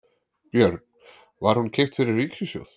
Björn: Var hún keypt fyrir ríkissjóð?